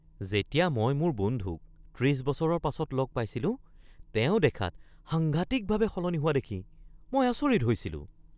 যেতিয়া মই মোৰ বন্ধুক ৩০ বছৰৰ পাছত লগ পাইছিলোঁ, তেওঁ দেখাত সাংঘাতিকভাৱে সলনি হোৱা দেখি মই আচৰিত হৈছিলোঁ।